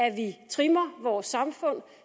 at vi trimmer vores samfund